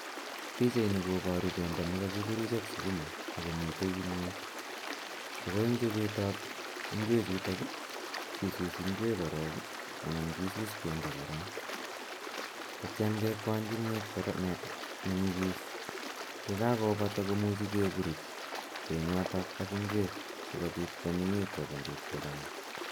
Pichaini koboru bendo neko kiburuch ak sukuma akomiten kimiet ako en chobetab ingwechutok, kisus ingwek korong ii anan kisus bendo korong, ak itiong kekwany kimier nenyigis yekakobata komuchi keburuch benyoto ak ingwek sikobit kwonyinyitu ak kochanga.